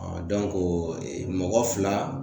mɔgɔ fila